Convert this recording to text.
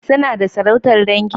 Suna da sarautar dangi?